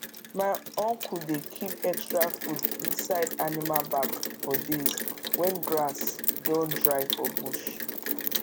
my uncle dey keep extra food inside animal bag for days when grass don dry for bush